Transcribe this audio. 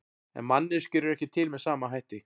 En manneskjur eru ekki til með sama hætti.